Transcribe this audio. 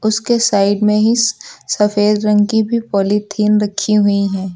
उसके साइड में ही स सफेद रंग की भी पालीथिन रखी हुई हैं।